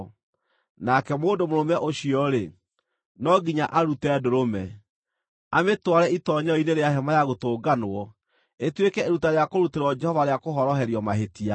Nake mũndũ mũrũme ũcio-rĩ, no nginya arute ndũrũme, amĩtware itoonyero-inĩ rĩa Hema-ya-Gũtũnganwo ĩtuĩke iruta rĩa kũrutĩrwo Jehova rĩa kũhoroherio mahĩtia.